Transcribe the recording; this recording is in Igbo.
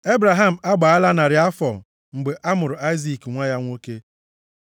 Ebraham agbaala narị afọ mgbe a mụrụ Aịzik nwa ya nwoke.